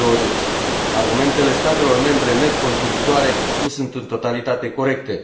2020. Argumentele statelor membre net contributoare nu sunt în totalitate corecte.